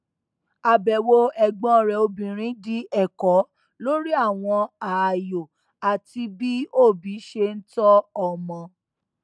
àbẹwò ẹgbọn rẹ obìnrin di ẹkọ lórí àwọn ààyò àti bí òbí ṣe n tọ ọmọ